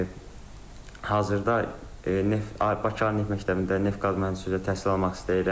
Hazırda Bakı Ali Neft Məktəbində neft-qaz mühəndisi üzrə təhsil almaq istəyirəm.